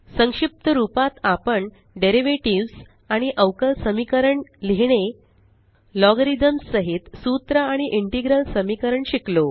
संक्षिप्त रूपात आपण डेरीवेटीव आणि अवकल समीकरण लिहीणे लॉगरिथम्स साहित सूत्र आणि इंटेग्रल समीकरण शिकलो